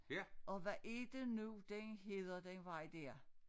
Og hvad er det nu den hedder den vej dér